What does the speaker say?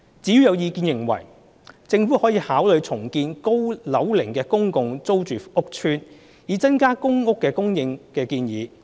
至於有意見認為，政府可考慮重建高樓齡公共租住屋邨，以增加公屋供應。